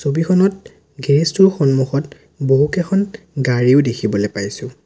ছবিখনত গেৰেজ টোৰ সন্মুখত বহুকেইখন গাড়ীও দেখিবলৈ পাইছোঁ।